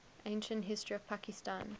ancient history of pakistan